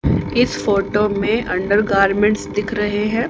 इस फोटो में under garments दिख रहे है।